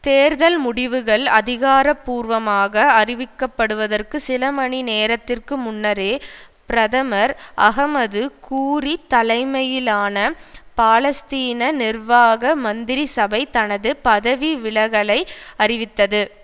தேர்தல் முடிவுகள் அதிகார பூர்வமாக அறிவிக்கப்படுவதற்கு சில மணி நேரத்திற்கு முன்னரே பிரதமர் அஹமது கூரி தலைமையிலான பாலஸ்தீன நிர்வாக மந்திரி சபை தனது பதவி விலகலை அறிவித்தது